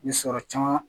Ni sɔrɔ caman